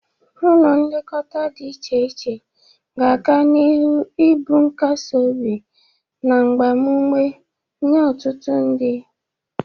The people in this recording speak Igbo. Ụlọ nlekọta dị iche iche ga-aga n'iru ibụ nkasiobi na mgbamụme nye ọtụtụ ndị.